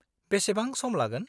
बेसेबां सम लागोन?